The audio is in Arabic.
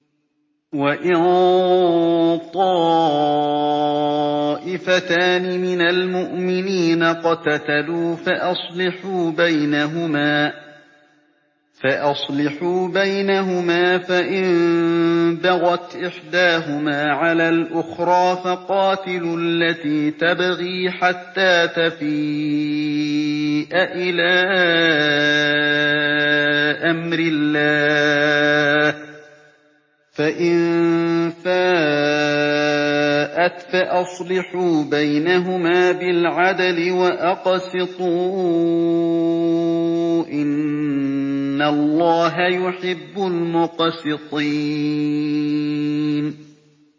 وَإِن طَائِفَتَانِ مِنَ الْمُؤْمِنِينَ اقْتَتَلُوا فَأَصْلِحُوا بَيْنَهُمَا ۖ فَإِن بَغَتْ إِحْدَاهُمَا عَلَى الْأُخْرَىٰ فَقَاتِلُوا الَّتِي تَبْغِي حَتَّىٰ تَفِيءَ إِلَىٰ أَمْرِ اللَّهِ ۚ فَإِن فَاءَتْ فَأَصْلِحُوا بَيْنَهُمَا بِالْعَدْلِ وَأَقْسِطُوا ۖ إِنَّ اللَّهَ يُحِبُّ الْمُقْسِطِينَ